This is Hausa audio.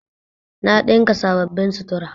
Na ɗinka sababbin sutura